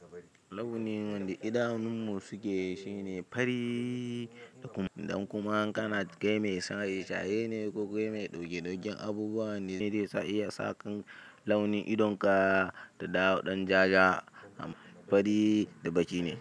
Launin wanda idanunmu suke shine fari idan kuma kai mai shaye shaye ne ko kuma mai ɗauke dauken abubuwa ne zai iya sa launin idanunka su dawo dan jajaja.